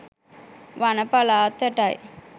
වන පළාතටයි.